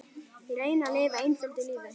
Ég reyni að lifa einföldu lífi.